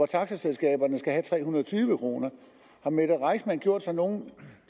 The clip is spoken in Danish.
taxaselskaberne skal have tre hundrede og tyve kroner har mette reissmann gjort sig nogen